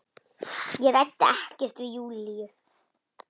Ég ræddi ekkert við Júlíu.